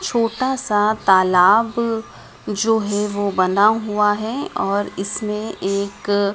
छोटा सा तालाब जो है वो बना हुआ है और इसमें एक--